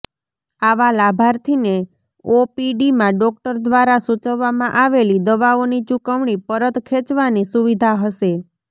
આવા લાભાર્થીને ઓપીડીમાં ડોક્ટર દ્વારા સૂચવવામાં આવેલી દવાઓની ચૂકવણી પરત ખેંચવાની સુવિધા હશે